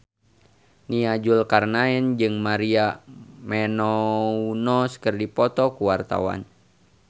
Nia Zulkarnaen jeung Maria Menounos keur dipoto ku wartawan